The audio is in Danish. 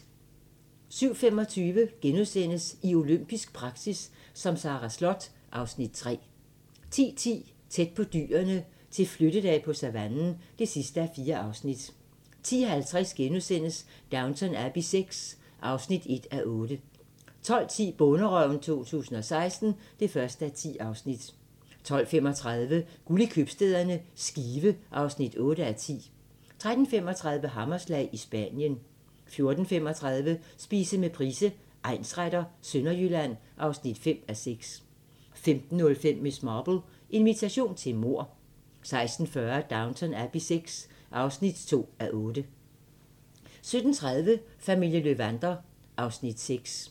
07:25: I olympisk praktik som Sara Slott (Afs. 3)* 10:10: Tæt på dyrene til flyttedag på savannen (4:4) 10:50: Downton Abbey VI (1:8)* 12:10: Bonderøven 2016 (1:10) 12:35: Guld i købstæderne - Skive (8:10) 13:35: Hammerslag – i Spanien 14:35: Spise med Price, egnsretter: Sønderjylland (5:6) 15:05: Miss Marple: Invitation til mord 16:40: Downton Abbey VI (2:8) 17:30: Familien Löwander (Afs. 6)